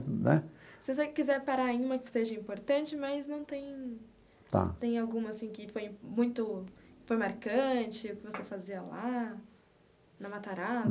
Né. Se você quiser parar em uma que seja importante, mas não tem. Tá. Tem alguma assim que foi muito foi marcante, que você fazia lá, na Matarazzo?